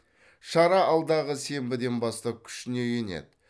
шара алдағы сенбіден бастап күшіне енеді